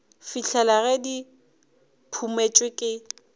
fihlela ge di phumotšwe ke